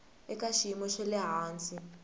eka xiyimo xa le hansi